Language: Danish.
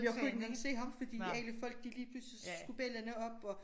Jeg kunne ikke engang se ham fordi alle folk de lige pludselig så skulle bellana op og